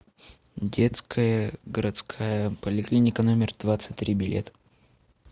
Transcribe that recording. детская городская поликлиника номер двадцать три билет